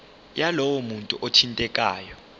yalowo muntu othintekayo